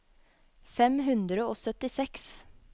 fem hundre og syttiseks